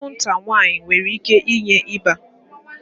Anwụnta nwaanyị nwere ike inye ịba